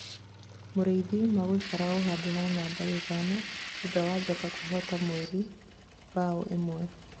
Mĩruthi magũikara o handũ ha namba ithano thutha wa Njata kũhota mweri mbao ĩmwe